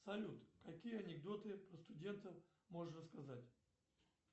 салют какие анекдоты про студентов можешь рассказать